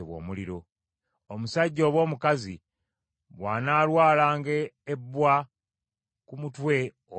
“Omusajja oba omukazi bw’anaalwalanga ebbwa ku mutwe oba ku kalevu,